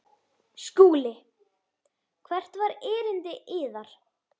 SKÚLI: Hvert var erindi yðar?